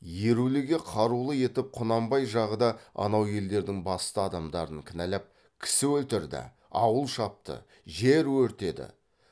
еруліге қарулы етіп құнанбай жағы да анау елдердің басты адамдарын кінәлап кісі өлтірді ауыл шапты жер өртеді